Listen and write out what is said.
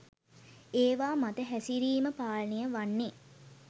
ඒවා මත හැසිරීම පාලනය වන්නෙ